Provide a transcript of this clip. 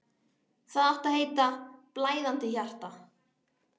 Það átti að heita: Blæðandi hjarta.